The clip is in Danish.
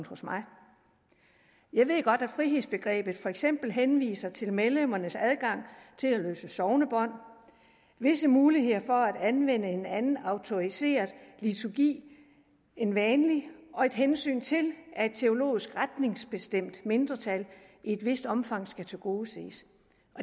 hos mig jeg ved godt at frihedsbegrebet for eksempel henviser til medlemmernes adgang til at løse sognebånd visse muligheder for at anvende en anden autoriseret liturgi end vanlig og et hensyn til at et teologisk retningsbestemt mindretal i et vist omfang skal tilgodeses